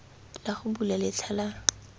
la go bula letlha la